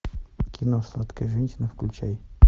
кино сладкая женщина включай